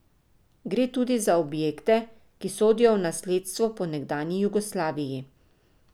Gre tudi za objekte, ki sodijo v nasledstvo po nekdanji Jugoslaviji.